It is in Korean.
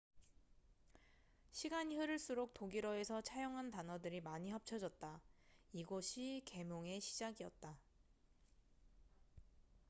시간이 흐를수록 독일어에서 차용한 단어들이 많이 합쳐졌다 이것이 계몽의 시작이었다